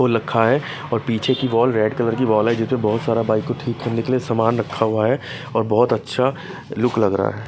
रखा है और पीछे की वॉल रेड कलर की वॉल है जिसमें बहुत सारा बाइक को ठीक करने के लिए सामान रखा हुआ है और बहुत अच्छा लुक लग रहा है।